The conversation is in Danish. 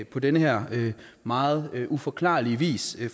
på den her meget uforklarlige vis i